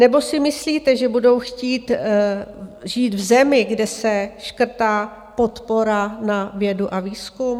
Nebo si myslíte, že budou chtít žít v zemi, kde se škrtá podpora na vědu a výzkum?